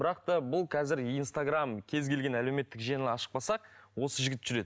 бірақ та бұл қазір инстаграмм кез келген әлеуметтік желіні ашып қалсақ осы жігіт жүреді